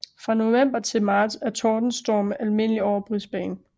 Fra november til marts er tordenstorme almindelige over Brisbane